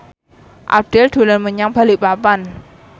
Abdel dolan menyang Balikpapan